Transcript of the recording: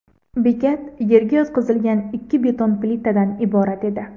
Bekat yerga yotqizilgan ikki beton plitadan iborat edi.